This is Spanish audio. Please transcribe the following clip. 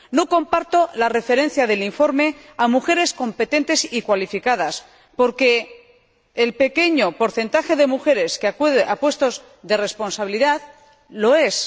No comparto la referencia del informe a mujeres competentes y cualificadas, porque el pequeño porcentaje de mujeres que accede a puestos de responsabilidad lo es.